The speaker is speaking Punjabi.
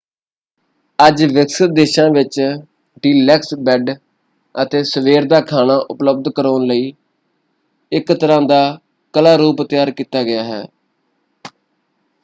ਅੱਜ ਵਿਕਸਿਤ ਦੇਸ਼ਾਂ ਵਿੱਚ ਡੀਲੈਕਸ ਬੈਡ ਅਤੇ ਸਵੇਰ ਦਾ ਖਾਣਾ ਉਪਲਬਧ ਕਰਵਾਉਣ ਲਈ ਇਕ ਤਰ੍ਹਾਂ ਦਾ ਕਲਾ-ਰੂਪ ਤਿਆਰ ਕੀਤਾ ਗਿਆ ਹੈ।